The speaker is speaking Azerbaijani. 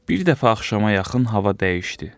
Bir dəfə axşama yaxın hava dəyişdi.